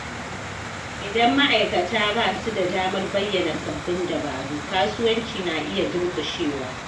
Idan ma’aikata ba su da damar bayyana sabbin dabaru, kasuwanci na iya durƙushewa.